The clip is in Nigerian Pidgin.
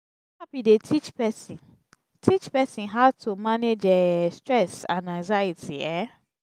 therapy dey teach person teach person how to manage um stress and anxiety um